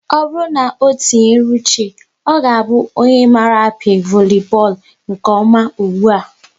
Ọ bụrụ na o tinyere uche, ọ ga-abụ onye mara a pịa voli bọọlụ nke ọma ụgbụa